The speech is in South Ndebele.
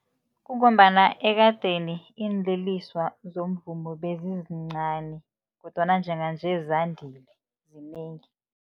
Kungombana ekadeni iinliliswa zomvumo bezizincani kodwana njenganje zandile zinengi.